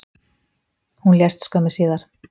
Hún lést skömmu síðar